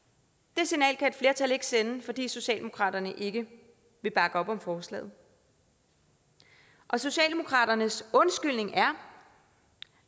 det signal kan et flertal ikke sende fordi socialdemokraterne ikke vil bakke op om forslaget socialdemokraternes undskyldning er